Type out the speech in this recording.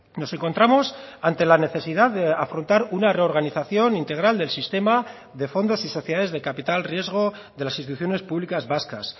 nos encontramos ante la necesidad de afrontar una reorganización integral del sistema de fondos y sociedades de capital riesgo de las instituciones públicas vascas